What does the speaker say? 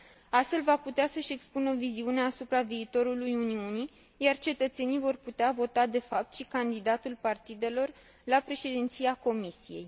Astfel, va putea să își expună viziunea asupra viitorului Uniunii, iar cetățenii vor putea vota, de fapt, și candidatul partidelor la președinția Comisiei.